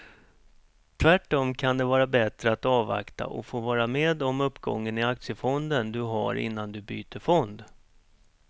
Tvärtom kan det vara bättre att avvakta och få vara med om uppgången i aktiefonden du har innan du byter fond.